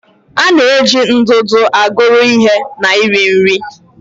A na-eji ndụdụ aguru ihe na iri nri.